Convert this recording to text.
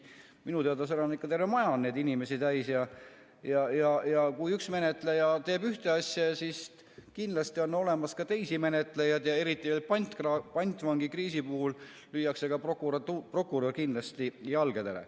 Minu teada seal on terve maja neid inimesi täis, ja kui üks menetleja teeb ühte asja, siis kindlasti on olemas ka teisi menetlejaid ja eriti pantvangikriisi puhul lüüakse ka prokurör kindlasti jalgadele.